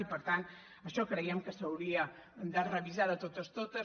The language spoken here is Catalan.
i per tant això creiem que s’hauria de revisar de totes totes